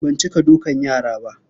Ban cika dukan yara ba.